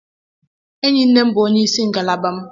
Enyi nne m bụ onye isi ngalaba m.